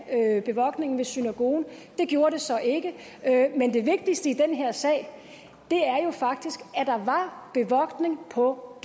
bevogtning ved synagogen det gjorde det så ikke men det vigtigste i den her sag er jo faktisk at der var bevogtning på